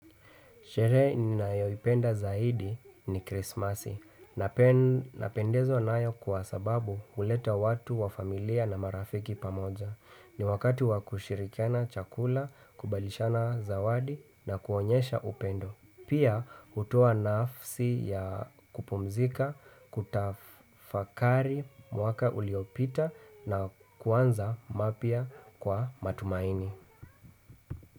Sherehe ninayoipenda zaidi ni krismasi. Napendezwa nayo kwa sababu huleta watu wa familia na marafiki pamoja. Ni wakati wakushirikiana chakula, kubadilishana zawadi na kuonyesha upendo. Pia hutoa nafasi ya kupumzika, kutafakari mwaka uliopita na kuanza mapya kwa matumaini.